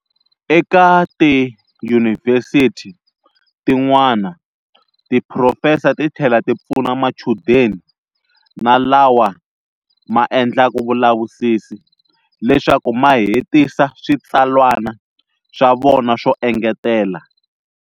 Eka tiyunivhesithi tin'wana tiphurofesa ti thlela ti pfuna machudeni na lawa ma endlaka vulavisisi leswaku ma hetisa switsalwana swa vona swo engetela.